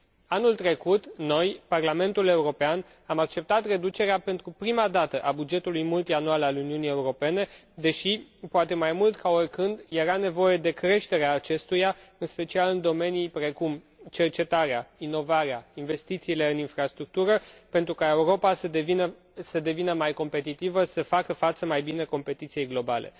Anul trecut, noi, Parlamentul European, am acceptat reducerea pentru prima dată a bugetului multianual al Uniunii Europene, deși, poate mai mult ca oricând, era nevoie de creșterea acestuia, în special în domenii precum cercetarea, inovarea, investițiile în infrastructură, pentru ca Europa să devină mai competitivă, să facă față mai bine competiției globale.